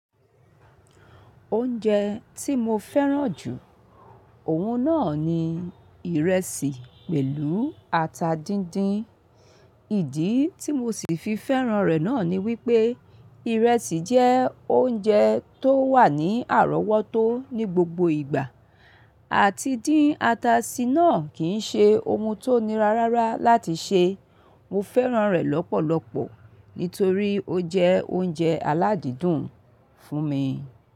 Oúnjẹ tí mo fẹ́ràn jù, òun náà ni ìrẹsì pẹ̀lú ata díndín. Ìdí tí mo sì fi fẹ́ràn rẹ̀ náà ni wípé ìrẹsì jẹ́ oúnjẹ tó wà ní àrọ́wọ́tó ní gbogbo ìgbà, àti dín ata sí náà kìí ṣe ohùn tó nira rárá láti ṣe. Mo fẹ́ràn rẹ̀ lọ́pọ̀lọpọ̀ nítorí ó jẹ́ oúnjẹ aládídùn fún mi.